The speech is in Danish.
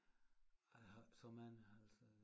Ej a har æ så mange altså